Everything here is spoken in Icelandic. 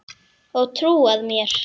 Og trúað mér!